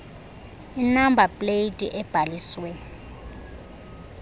inamba pleyiti ebhaliswe